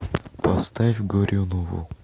поставь горюнову